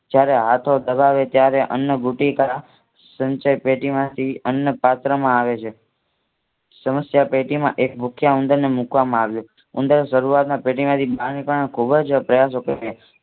જયારે હાથો દબાવે ત્યારે અન્નભૂતિકા સંચય પેટી માંથી અન્ન પાત્રમાં આવે છે. સમસ્યાપેટી માં એક ભૂખ્યા ઉંદરને મુકવામાં આવ્યું ઉંદર શરૂઆતમાં પેટી માંથી બહાર નીકળવા ખૂબ જ પ્રયાસો કરે છે.